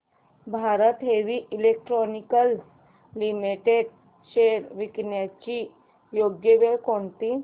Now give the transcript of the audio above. Bharat heavy electricals limited shares विकण्याची योग्य वेळ कोणती